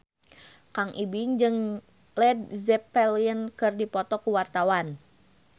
Kang Ibing jeung Led Zeppelin keur dipoto ku wartawan